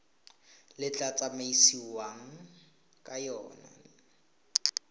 le tla tsamaisiwang ka yona